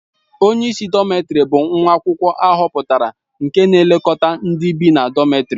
Onye isi dọmètarì bụ nwa akwụkwọ ahọpụtara nke na-elekọta ndị bị na dọmètarì